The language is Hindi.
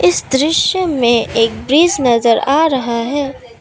इस दृश्य में एक ब्रिज नजर आ रहा है।